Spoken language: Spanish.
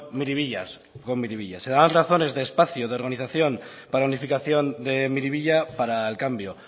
miribilla se daban razones de espacio de organización planificación de miribilla para el cambio